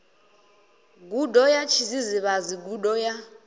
gudo ya tshidzidzivhadzi gudo ya